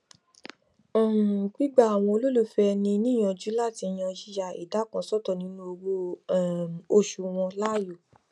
um gbígba àwọn olólùfẹ ẹni níyànjú láti yan yíya ìdá kan sọtọ nínú owó um oṣù wọn láàyò